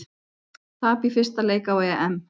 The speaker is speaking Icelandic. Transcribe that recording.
Tap í fyrsta leik á EM